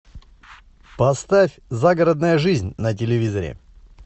поставь загородная жизнь на телевизоре